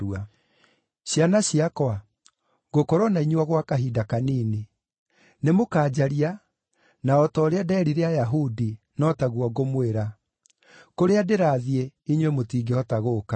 “Ciana ciakwa, ngũkorwo na inyuĩ o gwa kahinda kanini. Nĩmũkanjaria, na o ta ũrĩa ndeerire Ayahudi, no taguo ngũmwĩra: Kũrĩa ndĩrathiĩ, inyuĩ mũtingĩhota gũũka.